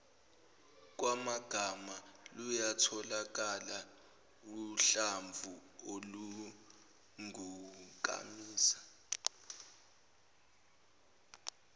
kwamagama luyatholakala uhlamvuolungunkamisa